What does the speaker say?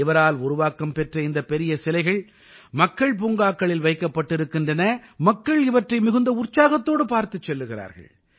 இவரால் உருவாக்கம் பெற்ற இந்த பெரிய சிலைகள் மக்கள் பூங்காக்களில் வைக்கப்பட்டிருக்கின்றன மக்கள் இவற்றை மிகுந்த உற்சாகத்தோடு பார்த்துச் செல்கிறார்கள்